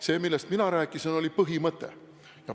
See, millest mina rääkisin, oli põhimõte.